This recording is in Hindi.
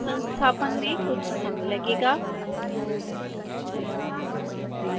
संस्थापन में कुछ समय लगेगा